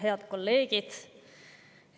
Head kolleegid!